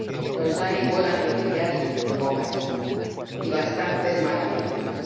Pues hay buenas noticias —pocas— y bastantes malas noticias.